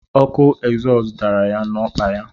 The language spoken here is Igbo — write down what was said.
Ọkụ egzọs dara ya na-ọkpa ya.